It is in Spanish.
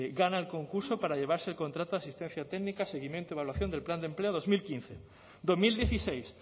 gana el concurso para llevarse el contrato de asistencia técnica seguimiento y evaluación del plan de empleo dos mil quince dos mil dieciséis